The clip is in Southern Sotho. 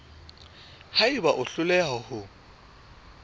ha eba o hloleha ho